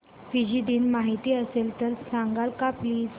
Fiji दिन माहीत असेल तर सांगाल का प्लीज